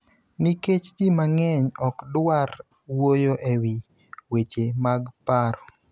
nikech ji mang�eny ok dwar wuoyo e wi weche mag paro.